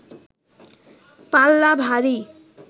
পাল্লা ভারী